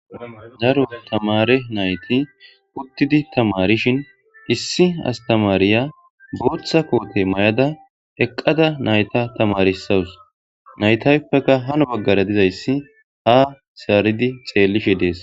daro tamare nayti uttidi tamarishin issi astamariya booththa koote mayada eqqada nayta tamarisawus naytayppeka hano baggara dizayssi ha zaaridi xeellishe dees